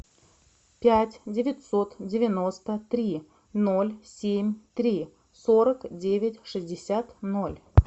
пять девятьсот девяносто три ноль семь три сорок девять шестьдесят ноль